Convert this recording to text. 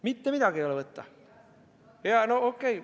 Mitte midagi ei ole võtta!